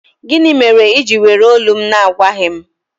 Gịnị mere i ji were olu m na-agwaghị m?